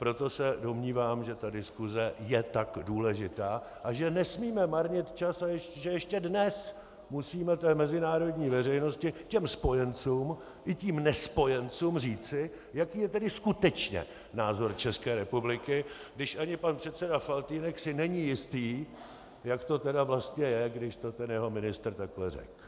Proto se domnívám, že ta diskuse je tak důležitá a že nesmíme marnit čas a že ještě dnes musíme té mezinárodní veřejnosti, těm spojencům i těm nespojencům říci, jaký je tedy skutečně názor České republiky, když ani pan předseda Faltýnek si není jistý, jak to tedy vlastně je, když to ten jeho ministr takhle řekl.